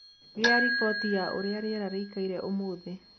Gia riboti ya uria rĩera rĩĩkaĩre ũmũthĩ